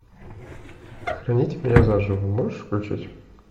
похороните меня заживо можешь включить